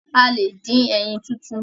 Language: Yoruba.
A lẹ̀ dín ẹyin tútù.